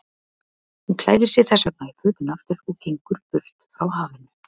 Hún klæðir sig þessvegna í fötin aftur og gengur burt frá hafinu.